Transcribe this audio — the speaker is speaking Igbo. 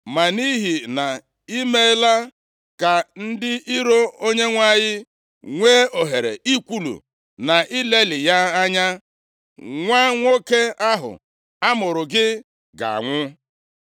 Ma nʼihi na i meela ka ndị iro Onyenwe anyị nwe ohere ikwulu na ilelị ya anya, nwa nwoke ahụ amụụrụ gị ga-anwụ.”